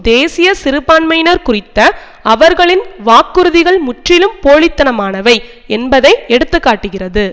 தேசிய சிறுபான்மையினர் குறித்த அவர்களின் வாக்குறுதிகள் முற்றிலும் போலித்தனமானவை என்பதை எடுத்து காட்டுகிறது